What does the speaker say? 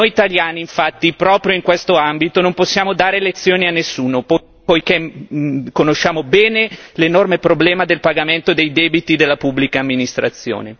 Noi italiani, infatti, proprio in questo ambito non possiamo dare lezioni a nessuno, poiché conosciamo bene l'enorme problema del pagamento dei debiti della pubblica amministrazione.